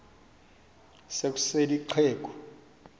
se kusel ixheg